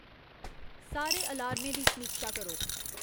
सारे अलार्में दी समीक्षा करो